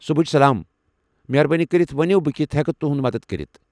صٗبحچ سلام ، مہربٲنی كرِتھ ؤنو بہٕ کِتھہٕ ہیكہٕ توہہِ مدتھ كرِتھ ؟